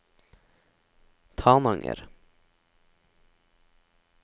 Tananger